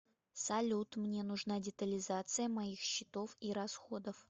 салют мне нужна детализация моих счетов и расходов